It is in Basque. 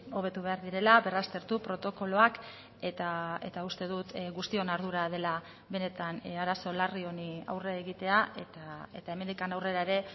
hobetu behar direla berraztertu protokoloak eta uste dut guztion ardura dela benetan arazo larri honi aurre egitea eta hemendik aurrera ere